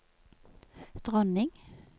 dronning